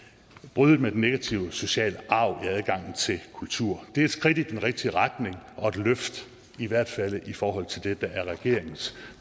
bryde den negative sociale arv i adgangen til kultur det er et skridt i den rigtige retning og et løft i hvert fald i forhold til det der er regeringens